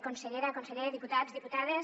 consellera conseller diputats diputades